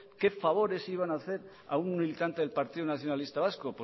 qué favores iban a hacer a un militante del partido nacionalista vasco